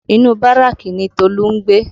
Inu Báràkì ni Tolu ń gbé